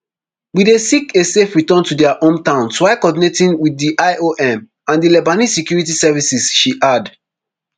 we dey seek a safe return to dia home towns while coordinating with di iom and di lebanese security services she add